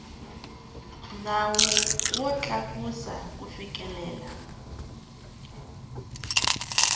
nawu wo tlakusa ku fikelela